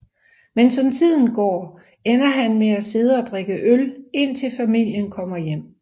Men som tiden går ender han med at sidde og drikke øl indtil familien kommer hjem